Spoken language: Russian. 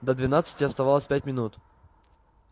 до двенадцати оставалось пять минут